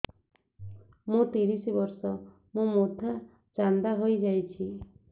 ମୋ ତିରିଶ ବର୍ଷ ମୋ ମୋଥା ଚାନ୍ଦା ହଇଯାଇଛି